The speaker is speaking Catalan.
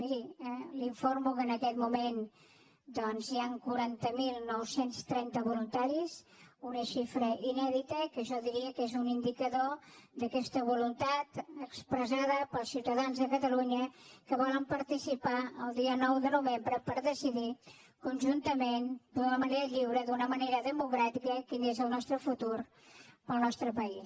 miri l’informo que en aquest moment doncs hi han quaranta mil nou cents i trenta voluntaris una xifra inèdita que jo diria que és un indicador d’aquesta voluntat expressada pels ciutadans de catalunya que volen participar el dia nou de novembre per decidir conjuntament d’una manera lliure d’una manera democràtica quin és el nostre futur per al nostre país